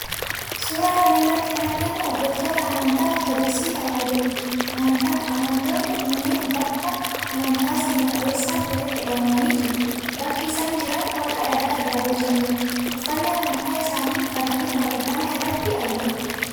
Suuraa kana irratti kan argamu hordoftoota amantaa Ortodoksii Tewaahidooti. Amantoonni kunneen bakka amantaa seena qabeessatti walitti qabamanii jiru. Bakki isaan jiran holqa dhagaa irraa bocameedha. Uffannaa amantaa isaanii uffatanii waaqeffannaa irratti argamu.